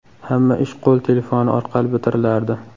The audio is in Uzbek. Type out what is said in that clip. Hamma ish qo‘l telefoni orqali bitirilardi.